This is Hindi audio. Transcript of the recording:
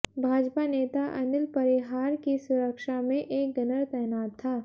भाजपा नेता अनिल परिहार की सुरक्षा में एक गनर तैनात था